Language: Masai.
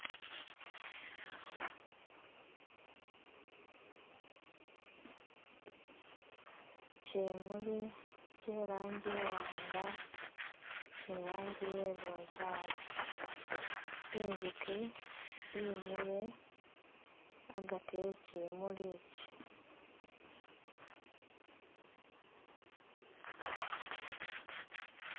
Kyimuuli kye i'langi iwaanga ni iranji iye kye bubunzali, inzuki yimile agaati eh kimuuli iki.